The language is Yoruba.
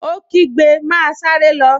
Ó kígbe, 'Máa sáré lọ!